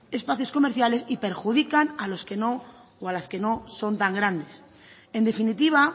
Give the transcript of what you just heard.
espacios comerciales y perjudican a los que no son tan grandes en definitiva